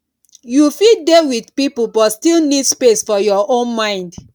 you fit dey with people but still need space for your own mind